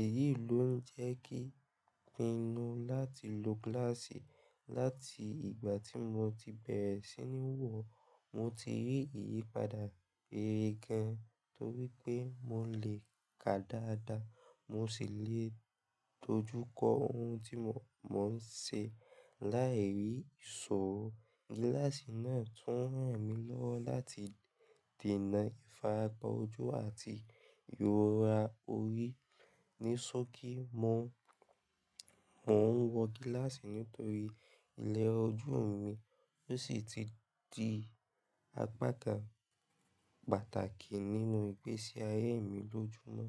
Èyí ló ń jẹ́ kí n pinnu láti lo gíláàsì. Láti ìgbà tí mo ti bẹ̀rẹ̀ sí ní wọ̀ ọ́, mo ti rí ìyípadà rere gan-an nítorí pé mo lè kà dáadáa, mo sì lè dojú kọ ohun tí mo ń ṣe, láì ní ìṣòrò. Gíláàsì náà tún ràn mí lọ́wọ́ láti dènà ìfaràpa ojú àti ìrora orí, ní sókí mo, mò ń wọ gíláàsì nítorí ilẹ̀ra ojú mi, ó sì ti di apátà pàtàkì nínú ìgbésíayé mi lójoojúmọ́.